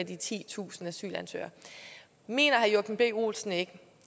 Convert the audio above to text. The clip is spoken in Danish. de titusind asylansøgere mener herre joachim b olsen ikke